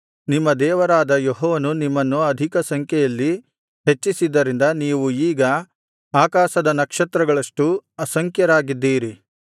ನಿಮ್ಮ ದೇವರಾದ ಯೆಹೋವನು ನಿಮ್ಮನ್ನು ಅಧಿಕ ಸಂಖ್ಯೆಯಲ್ಲಿ ಹೆಚ್ಚಿಸಿದ್ದರಿಂದ ನೀವು ಈಗ ಆಕಾಶದ ನಕ್ಷತ್ರಗಳಷ್ಟು ಅಸಂಖ್ಯರಾಗಿದ್ದೀರಿ